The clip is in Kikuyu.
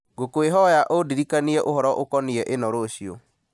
ngũkwĩhoya ũndirikanie ũhoro ũkoniĩ ĩno rũciũ